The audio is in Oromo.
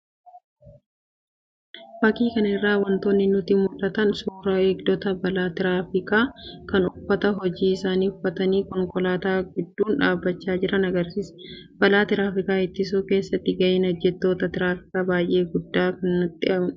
Fakii kana irraa wantoonni nutti mul'atan suuraa eegdota balaa tiraafikaa kan uffata hojii isaanii uffatanii konkolaataa gidduun dhaabachaa jiran agarsiisa. Balaa tiraafikaa ittisuu keessatti gaheen hojjettoota tiraafikaa baay'ee guddaa ta'uu nutti mul'isa.